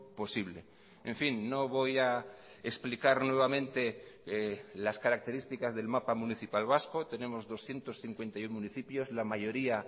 posible en fin no voy a explicar nuevamente las características del mapa municipal vasco tenemos doscientos cincuenta y uno municipios la mayoría